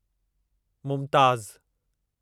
Mumtaz